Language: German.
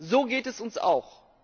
So geht es uns auch.